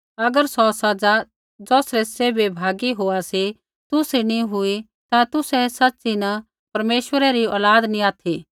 अगर सौ सज़ा ज़ौसरै सैभै भागी होआ सी तुसरी नी हुई ता तुसै सच़ी न परमेश्वरा री औलाद नैंई ऑथि